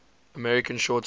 american short story